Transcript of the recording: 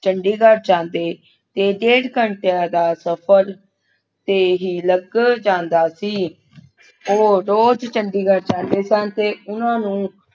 ਚੰਡੀਗੜ੍ਹ ਜਾਂਦੇ ਤੇ ਡੇਢ ਘੰਟੇ ਦਾ ਸਫ਼ਰ ਤੇ ਹੀ ਲੱਗ ਜਾਂਦਾ ਸੀ ਉਹ ਰੋਜ਼ ਚੰਡੀਗੜ੍ਹ ਜਾਂਦੇ ਸੀ ਤੇ ਉਨ੍ਹਾਂ ਨੂੰ